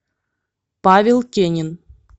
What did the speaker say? павел кенин